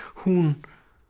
hún